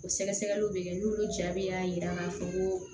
O sɛgɛsɛgɛliw bɛ kɛ n'olu jaabi y'a jira k'a fɔ ko